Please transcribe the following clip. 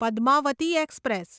Padmavati express